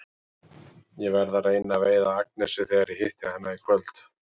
Ég verð að reyna að veiða Agnesi þegar ég hitti hana í kvöld.